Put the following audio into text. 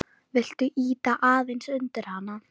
Viltu ýta aðeins undir hana?